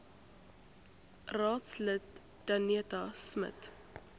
raadslid danetta smit